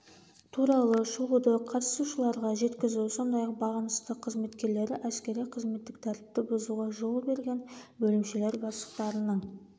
туралы шолуды қатысушыларға жеткізу сондай ақ бағынысты қызметкерлері әскери-қызметтік тәртіпті бұзуға жол берген бөлімшелер бастықтарының